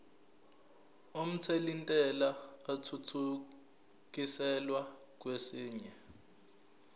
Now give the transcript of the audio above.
omthelintela athuthukiselwa kwesinye